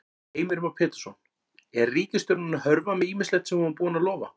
Heimir Már Pétursson: Er ríkisstjórnin að hörfa með ýmislegt sem hún var búin að lofa?